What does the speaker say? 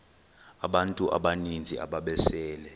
abantu abaninzi ababesele